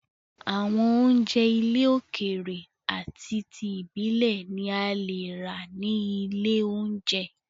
Àwọn oúnjẹ ilẹ̀ òkèrè ati ti ibilẹ̀ ni a leè rà ní ilé oúnjẹ.